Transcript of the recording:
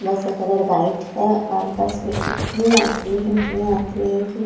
बस का colour white है और बस में इतने यात्री है इतने यात्री है कि--